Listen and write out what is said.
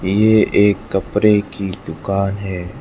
ये एक कपड़े की दुकान है।